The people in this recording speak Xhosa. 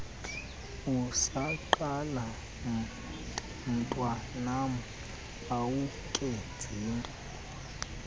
usaqala mntwanam awukenzinto